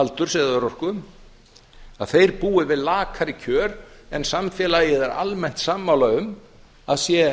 aldurs eða örorku búi við lakari kjör en samfélagið er almennt sammála um að sé